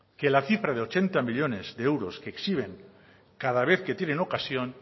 que la cifra de ochenta millónes de euros que exhiben cada vez que tienen ocasión